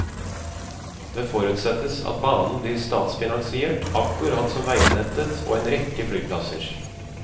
Det forutsettes at banen blir statsfinansiert, akkurat som veinettet og en rekke flyplasser.